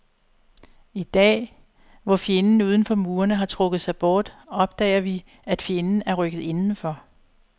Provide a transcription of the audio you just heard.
I dag, hvor fjenden uden for murene har trukket sig bort, opdager vi, at fjenden er rykket indenfor.